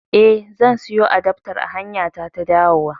Eh, zan siyo adaftar a hanyata ta dawowa